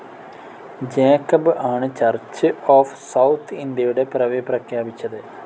Jacob ആണ് church of south ഇന്ത്യയുടെ പിറവി പ്രഖ്യാപിച്ചത്.